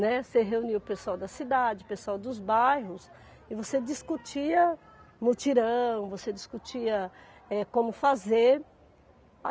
Né, você reunia o pessoal da cidade, o pessoal dos bairros, e você discutia mutirão, você discutia, eh, como fazer.